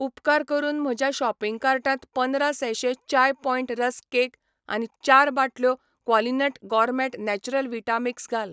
उपकार करून म्हज्या शॉपिंग कार्टांत पंदरा sachet chai point rusk cake आनी चार बाटल्यो क्वॉलिनट गॉरमेट नेचरल व्हिटा मिक्स घाल.